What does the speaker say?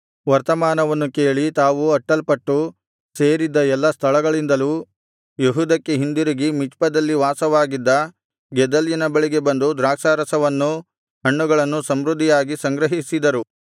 ವರ್ತಮಾನವನ್ನು ಕೇಳಿ ತಾವು ಅಟ್ಟಲ್ಪಟ್ಟು ಸೇರಿದ್ದ ಎಲ್ಲಾ ಸ್ಥಳಗಳಿಂದಲೂ ಯೆಹೂದಕ್ಕೆ ಹಿಂದಿರುಗಿ ಮಿಚ್ಪದಲ್ಲಿ ವಾಸವಾಗಿದ್ದ ಗೆದಲ್ಯನ ಬಳಿಗೆ ಬಂದು ದ್ರಾಕ್ಷಾರಸವನ್ನೂ ಹಣ್ಣುಗಳನ್ನೂ ಸಮೃದ್ಧಿಯಾಗಿ ಸಂಗ್ರಹಿಸಿದರು